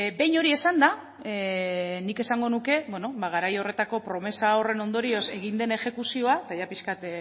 behin hori esanda nik esango nuke beno ba garai horretako promesa horren ondorioz egin den exekuzioa eta ia pixkat